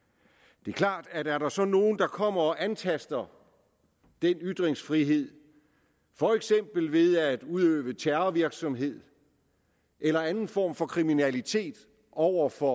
det er klart at er der så nogen der kommer og antaster den ytringsfrihed for eksempel ved at udøve terrorvirksomhed eller anden form for kriminalitet over for